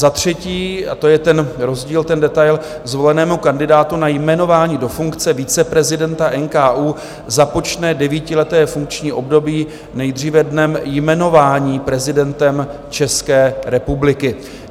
Za třetí, a to je ten rozdíl, ten detail, zvolenému kandidátu na jmenování do funkce viceprezidenta NKÚ započne devítileté funkční období nejdříve dnem jmenování prezidentem České republiky.